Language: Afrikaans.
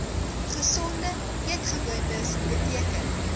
gesonde eetgewoontes beteken